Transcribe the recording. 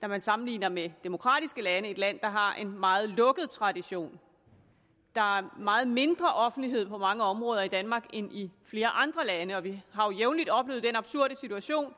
når man sammenligner med demokratiske lande et land der har en meget lukket tradition der er meget mindre offentlighed på mange områder i danmark end i flere andre lande og vi har jo jævnligt oplevet den absurde situation